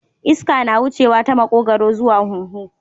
Iska na wuneya ta makogaro zuwa huhu